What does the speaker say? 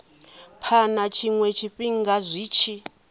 phana tshiwe tshifhinga zwi tshi